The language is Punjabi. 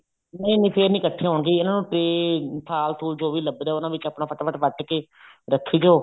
ਨਹੀਂ ਨਹੀਂ ਫ਼ੇਰ ਨੀ ਕੱਠੀਆਂ ਹੁੰਦੀਆਂ ਇਹਨਾ ਨੂੰ ਤੇ ਥਾਲ ਥੂਲ ਜੋ ਵੀ ਲੱਭਦਾ ਉਹਨਾ ਵਿੱਚ ਆਪਣਾ ਫਟਾ ਫਟ ਵੱਟ ਕੇ ਰੱਖੀ ਜੋ